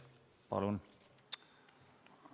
Palun!